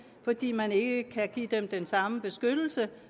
fordi man ikke kan give dem den samme beskyttelse